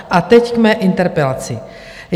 A teď k mé interpelaci.